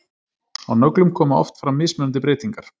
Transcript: á nöglum koma oft fram mismunandi breytingar